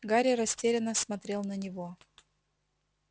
гарри растерянно смотрел на него